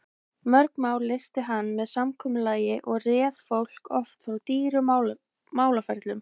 Mörg mál leysti hann með samkomulagi og réð fólki oft frá dýrum málaferlum.